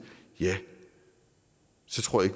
så tror jeg